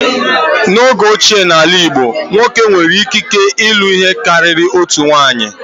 N'oge ochie n'ala Igbo, nwoke nwere ikike ilụ ihe karịrị otu nwunye